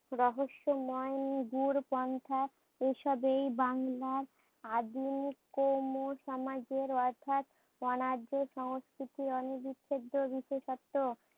রহস্যময় প্রন্থা ঐসব এই বাংলার আদি কম্ম সমাজের অর্থাৎ অনার্য সংস্কৃতি বিশেষতও।